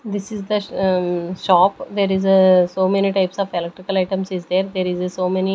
This is the mm shop there is a so many types of electrical items is there there is a so many--